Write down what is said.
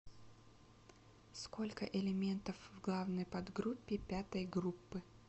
сколько элементов в главной подгруппе пятой группы